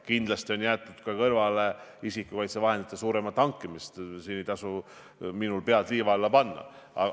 Kindlasti on jäetud kõrvale ka taotlus isikukaitsevahendite enamaks hankimiseks, mul ei tasu siin pead liiva alla peita.